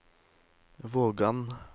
Vågan